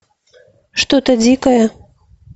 что то дикое